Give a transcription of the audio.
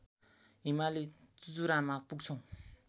हिमाली चुचुरामा पुग्छौं